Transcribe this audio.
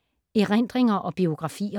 Erindringer og biografier